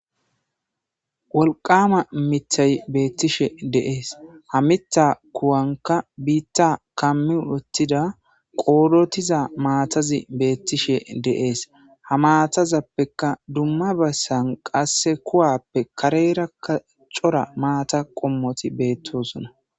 wolqama mithay beettishe deees ha mita kuwanka biitta kammi wottida qoorotiza maatazi beettishe deees ha maatazappeka dumma bassan qasse kowappe kareera ka cora maata qommoti beettosona